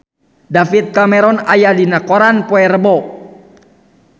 David Cameron aya dina koran poe Rebo